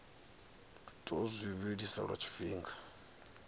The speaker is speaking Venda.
tou zwi vhilisa lwa tshifhinga